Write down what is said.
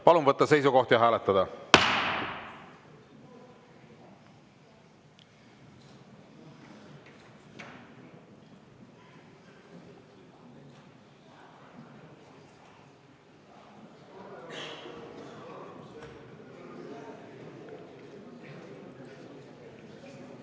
Palun võtta seisukoht ja hääletada!